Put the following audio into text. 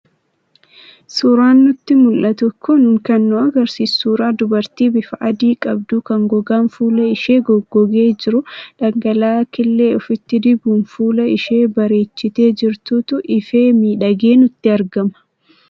Suuraan nutti mul'atu kun kan nu agarsiisu suuraa dubartii bifa adii qabduu kan gogaan fuula ishee goggogee jiru dhangala'aa killee ofitti dibuun fuula ishee bareechitee jirtuutu ifee miidhagee nutti argama.